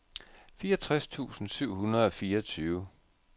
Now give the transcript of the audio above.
fireogtres tusind syv hundrede og fireogtyve